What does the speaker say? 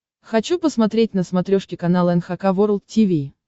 хочу посмотреть на смотрешке канал эн эйч кей волд ти ви